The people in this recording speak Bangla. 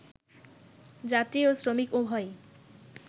যাত্রী ও শ্রমিক উভয়ই